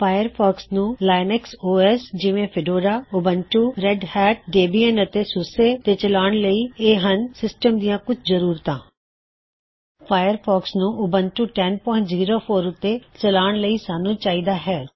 Firefox ਨੂੰ Linux O S ਜਿਵੇਂ -Fedora Ubuntu Red Hat Debian ਅਤੇ ਸੂਸੇ ਤੇ ਚਲਾਉਣ ਲਈ ਇਹ ਹਨ ਸਿਸਟਮ ਦਿਆਂ ਕੁੱਛ ਜ਼ਰੂਰਤਾਂ ਫਾਇਰਫੌਕਸ ਨੂੰ ਉਬੰਟੂ 1004 ਉਤੇ ਚਲਾਉਣ ਲਈ ਸਾੱਨ੍ਹੂੰ ਚਾਹੀਦਾ ਹੈ